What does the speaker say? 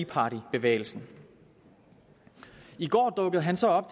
party bevægelsen i går dukkede han så op